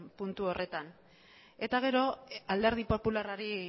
puntu horretan eta gero alderdi popularrari